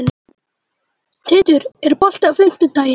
Tindur, er bolti á fimmtudaginn?